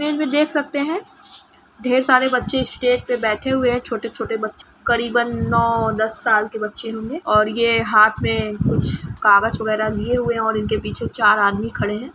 Image में देख सकते हैं ढेर सारे बच्चे स्टेज पे बैठे हुए हैं छोटे-छोटे बच्चे करीबन नौ दस साल के बच्चे होंगे और ये हाथ में कुछ कागज वगैरा लिए हुए हैं और इनके पीछे चार आदमी खड़े हैं।